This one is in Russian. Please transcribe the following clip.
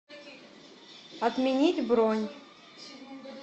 отменить бронь